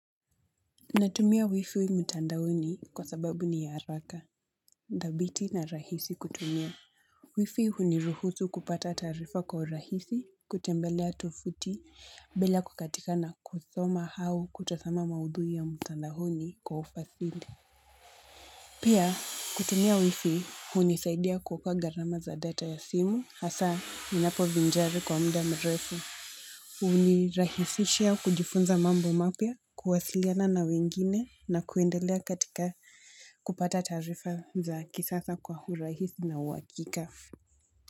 Natumia wifi mtandaoni kwa sababu ni ya haraka, dhabiti na rahisi kutumia. Wifi huniruhusu kupata taarifa kwa urahisi kutembelea tovuti bila kukatika na kusoma au kutazama maudhui ya mtandaoni kwa ufasili. Pia kutumia wifi hunisaidia kuua gharama za data ya simu hasa ninapo vinjari kwa muda mrefu. Unirahisishia kujifunza mambo mapya, kuwasiliana na wengine na kuendelea katika kupata taarifa za kisasa kwa urahis na uakika.